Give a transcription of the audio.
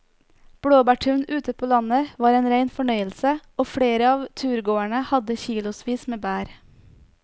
Blåbærturen ute på landet var en rein fornøyelse og flere av turgåerene hadde kilosvis med bær.